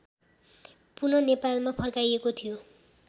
पुन नेपालमा फर्काइएको थियो